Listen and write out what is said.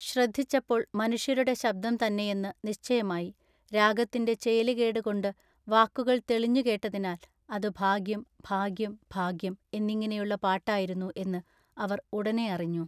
ശ്രദ്ധിച്ചപ്പോൾ മനുഷ്യരുടെ ശബ്ദം തന്നെയെന്നു നിശ്ചയമായി രാഗത്തിന്റെ ചേലു കേടു കൊണ്ടു വാക്കുകൾ തെളിഞ്ഞു കേട്ടതിനാൽ അതു ഭാഗ്യം ഭാഗ്യം ഭാഗ്യം" എന്നിങ്ങിനെയുള്ള പാട്ടായിരുന്നു എന്നു അവർ ഉടനെയറിഞ്ഞു.